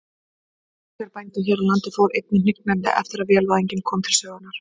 Útgerð bænda hér á landi fór einnig hnignandi eftir að vélvæðingin kom til sögunnar.